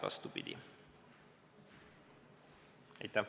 Vastupidi!